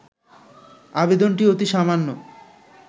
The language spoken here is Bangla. আবেদনটি অতি সামান্য